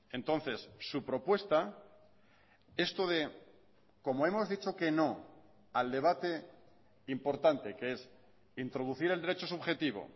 entonces su propuesta esto de como hemos dicho que no al debate importante que es introducir el derecho subjetivo